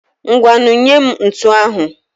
Ngwanụ nyee m ntu ahụ.